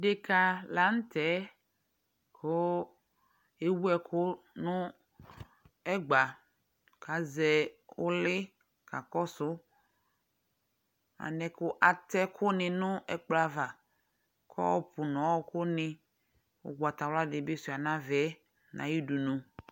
Deka la nʋ tɛ kʋ ewu ɛkʋ nʋ ɛgba kʋ azɛ ʋlɩ kakɔsʋ alɛna yɛ kʋ atʋ ɛkʋnɩ nʋ ɛkpkɔ ava, kɔpʋ nʋ ɔɣɔkʋnɩ ʋgbatawla dɩ bɩ sʋɩa nʋ ava yɛ nʋ ayʋ dunu